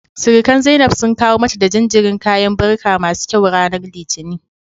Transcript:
Sirikan Zainab sun kawo mata da jinjirin kayan barka masu kyau ranar Litinin.